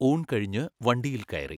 ഊൺ കഴിഞ്ഞു വണ്ടിയിൽ കയറി.